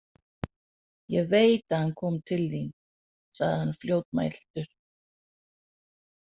Ég veit að hann kom til þín, sagði hann fljótmæltur.